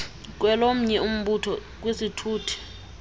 kwelomnye umbutho kwisithuthi